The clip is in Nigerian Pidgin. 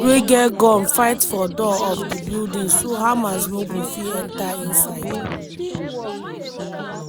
those wey get gun fight for door of di building so hamas no go fit enta inside.